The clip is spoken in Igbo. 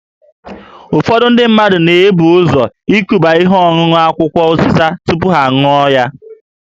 Ụfọdụ ndị mmadụ na-ebu ụzọ ikuba ihe ọṅụṅụ akwụkwọ ụzịza tupu ha aṅụọ